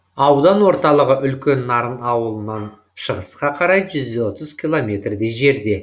аудан орталығы үлкен нарын ауылынан шығысқа қарай жүз отыз километрдей жерде